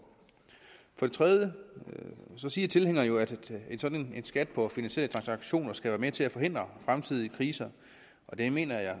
for det tredje siger tilhængerne jo at en sådan skat på finansielle transaktioner skal være med til at forhindre fremtidige kriser og det mener jeg